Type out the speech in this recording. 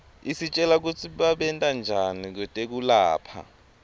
isitjela kutsi babentanjani kwetekulapha